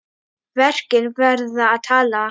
Verkin verða að tala.